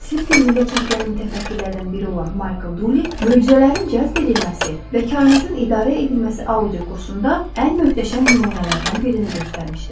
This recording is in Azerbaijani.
Sirr filmində çəkilən mütəfəkkirlərdən biri olan Michael Duli möcüzələrin cəzb edilməsi və kainatın idarə edilməsi audio kursunda ən möhtəşəm nümunələrdən birini göstərmişdi.